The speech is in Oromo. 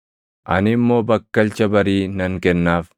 Ani immoo bakkalcha barii nan kennaaf.